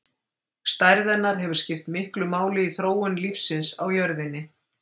Stærð hennar hefur skipt miklu máli í þróun lífsins á jörðinni.